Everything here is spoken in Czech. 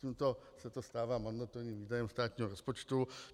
Tímto se to stává mandatorním výdajem státního rozpočtu.